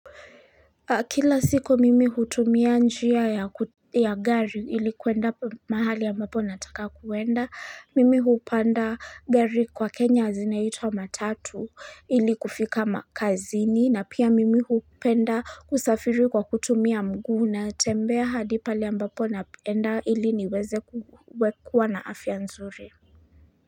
Kila siku mimi hutumia njia ya gari ilikuenda mahali ambapo nataka kuenda mimi hupanda gari kwa kenya zineitwa matatu ili kufika makazini na pia mimi hupenda kusafiri kwa kutumia mguu na tembea hadi pale ambapo naenda ili niweze kuwekua na afya nzuri.